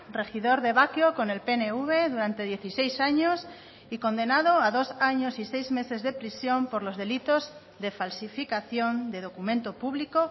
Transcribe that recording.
regidor de bakio con el pnv durante dieciséis años y condenado a dos años y seis meses de prisión por los delitos de falsificación de documento público